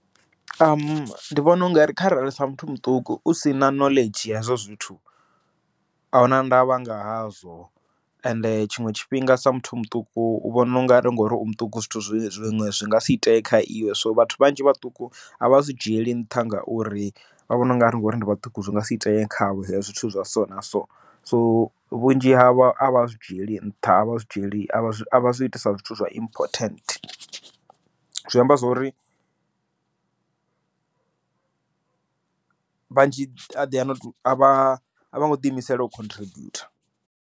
Ndi vhona u nga ri kharali sa muthu muṱuku, u sina knowledge ya hezwo zwithu, auna ndavha nga hazwo ende tshiṅwe tshifhinga sa muthu muṱuku u vhona ungari ngori u muṱuku zwithu zwiṅwe zwi nga si ite kha iwe. So vhathu vhanzhi vhaṱuku a vha zwi dzhieli nṱha ngauri vha vhona ungari ngori ndi vhaṱuku zwi nga si ite khavho zwithu zwa so na so, so vhunzhi havho a vha zwi dzhieli nṱha, a vha zwi dzhieli avha zwi iti sa zwithu zwa important, zwi amba zwori vhanzhi a vho ngo ḓi imisela u contribute.